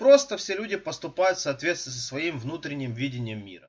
просто все люди поступают в соответствии со своим внутренним видением мира